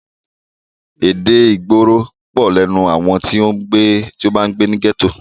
Èdè ìgboro pọ̀ lẹ́nu àwọn tí o bá ń gbé ní gẹ́tò.